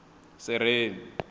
sereni